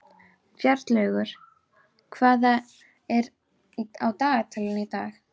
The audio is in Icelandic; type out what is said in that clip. Bjarnlaugur, hvað er á dagatalinu í dag?